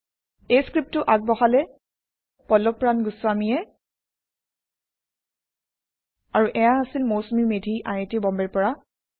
এই পাঠটি পল্লভ প্ৰান গুস্ৱামী দ্ৱাৰা যোগদান কৰা হৈছে এইয়া হৈছে Mousumi Medhi I I T বম্বেৰ পৰা